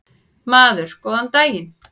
Maður: Góðan daginn.